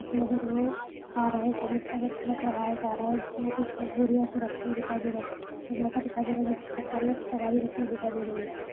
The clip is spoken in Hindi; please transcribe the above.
आ रहा हैं ट्रक लगाया जा रहा हैं जिसमें कुछ बोरिया रखी दिखाई दें रही --